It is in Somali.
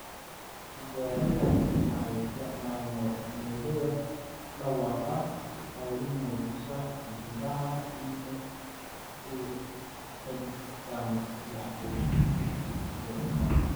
Tijaabadani waxay isticmaashaa mowjadaha dhawaaqa si ay u muujiso in xididdada dhiigga uu xidhan yahay iyo in kale.